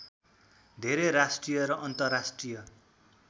धेरै राष्ट्रिय र अन्तर्राष्ट्रिय